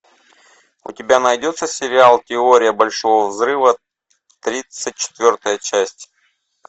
у тебя найдется сериал теория большого взрыва тридцать четвертая часть